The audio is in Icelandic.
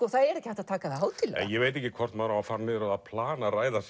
það er ekki hægt að taka það hátíðlega ég veit ekki hvort maður á að fara niður á það plan að ræða